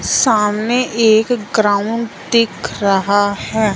सामने एक ग्राउंड दिख रहा है।